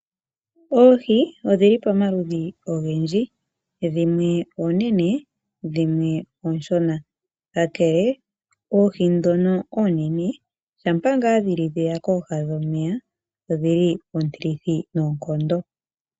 Oohi odhi li pamaludhi ogendji, dhimwe oonene dhimwe ooshona. Kakele oohi dhono oonene shampa ngaa dhi li dhe ya kooha dhomeya odhili oontilithi noonkondo.